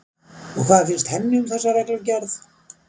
Og hvað finnst henni um þessa reglugerð?